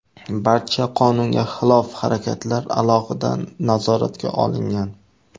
Barcha qonunga xilof harakatlar alohida nazoratga olingan.